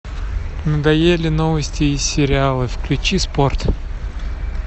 надоели новости и сериалы включи спорт